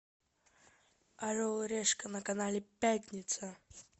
орел и решка на канале пятница